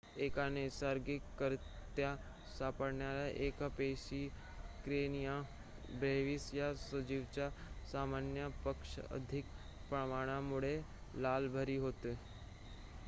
एका नैसर्गिकरीत्या सापडणाऱ्या एक पेशीय करेनिया ब्रेव्हीस या सजीवाच्या सामान्य पेक्षा अधिक प्रमाणामुळे लाल भरती होते